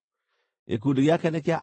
Gĩkundi gĩake nĩ kĩa andũ 45,650.